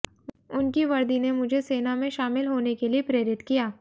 उनकी वर्दी ने मुझे सेना में शामिल होने के लिए प्रेरित किया